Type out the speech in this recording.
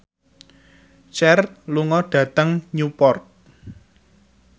Cher lunga dhateng Newport